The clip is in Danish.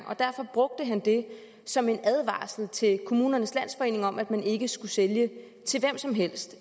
og derfor brugte han det som en advarsel til kommunernes landsforening om at man ikke skulle sælge til hvem som helst